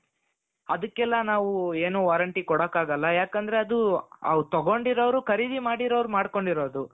ಅದಕ್ಕೆಲ್ಲ ನಾವೂ ಏನು warranty ಕೊಡಕ್ಕಾಗಲ್ಲ ಯಾಕಂದ್ರೆ ಅದು ಅವರು ತಗೊಂಡಿರೋರು ಖರೀದಿ ಮಾಡಿರೋರು ಮಾಡ್ಕೊಂಡಿರೋದು.